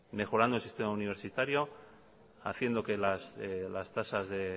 mejorando el sistema universitario haciendo que las tasas